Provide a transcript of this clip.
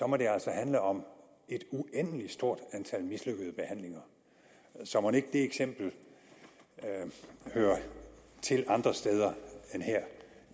må det altså handle om et uendelig stort antal mislykkede behandlinger så mon ikke det eksempel hører til andre steder end her